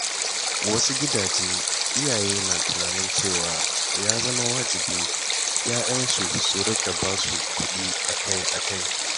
A wasu gidaje, iyaye na tunanin cewa ya zama wajibi 'ya'yansu su riƙa basu kuɗi akai-akai.